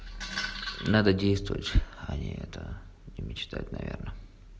надо действовать а не это не мечтать наверное